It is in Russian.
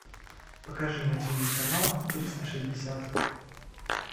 покажи на тиви канал триста шестьдесят